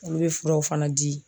Olu be furaw fana di